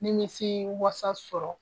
N ye ɲɛsi wasa sɔrɔ!